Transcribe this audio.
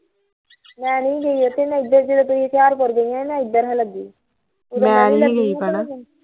ਮੈਨੀ ਸੀ ਗਈ ਮੈਂ ਏਧਰ ਜਦੋਂ ਤੁਸੀਂ ਹੁਸ਼ਿਆਰਪੁਰ ਗਈਆ ਸੀ ਨਾ ਏਧਰ ਸਾ ਲੱਗੀ